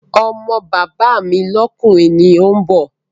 Ọmọ bàbá mi lọ́kùnrin ni òun bọ̀